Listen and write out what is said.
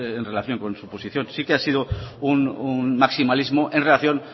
en relación con su posición sí que ha sido un maximalismo en relación